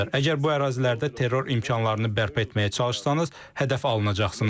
Əgər bu ərazilərdə terror imkanlarını bərpa etməyə çalışsanız, hədəf alınacaqsınız.